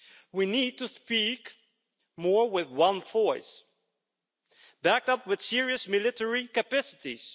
We need to speak more with one voice, backed up with serious military capacities.